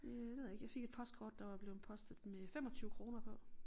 Øh det ved jeg ikke jeg fik et postkort der var blevet postet med 25 kroner på